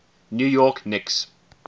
new york knicks